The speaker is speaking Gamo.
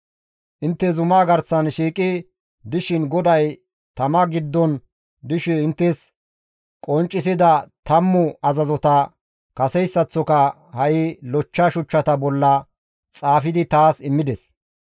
Intte zumaa garsan shiiqi dishin GODAY tama giddon dishe inttes qonccisida tammu azazota kaseyssaththoka ha7i lochcha shuchchata bolla xaafidi taas immides.